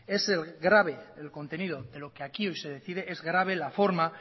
es grave el contenido de lo que aquí hoy se decide es grave la forma